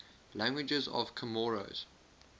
languages of comoros